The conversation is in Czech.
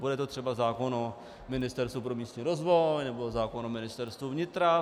Bude to třeba zákon o Ministerstvu pro místní rozvoj nebo zákon o Ministerstvu vnitra.